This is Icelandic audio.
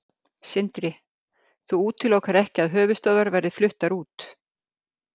Sindri: Þú útilokar ekki að höfuðstöðvar verði fluttar út?